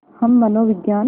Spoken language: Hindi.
हम मनोविज्ञान